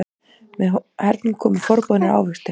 Með hernum komu forboðnir ávextir.